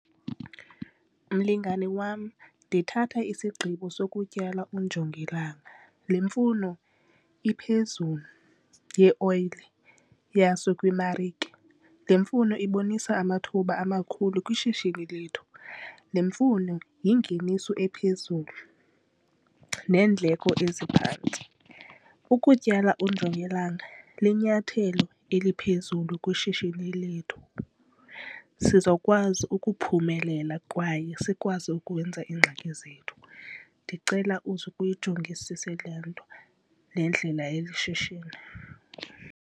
Mlingane wam, ndithatha isigqibo sokutyala ujongilanga. Le mfuno iphezulu yeoyile yaso kwiimarike, le mfuno ibonisa amathuba amakhulu kwishishini lethu. Le mfuno yingeniso ephezulu neendleko eziphantsi. Ukutyala ujongilanga linyathelo eliphezulu kwishishini lethu, sizokwazi ukuphumelela kwaye sikwazi ukwenza iingxaki zethu. Ndicela uzuke uyijongisise le nto le ndlela yeli shishini.